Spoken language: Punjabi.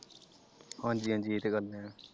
ਹਾਂਜੀ ਹਾਂਜੀ ਇਹ ਤੇ ਗੱਲ ਹੈ ।